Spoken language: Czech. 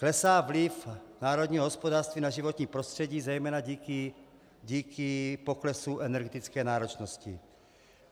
Klesá vliv národního hospodářství na životní prostředí zejména díky poklesu energetické náročnosti.